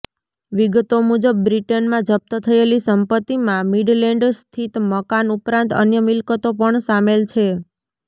વિગતો મુજબ બ્રિટનમાં જપ્ત થયેલી સંપતિમાં મીડલેન્ડ સ્થિત મકાન ઉપરાંત અન્ય મિલકતો પણ સામેલ છે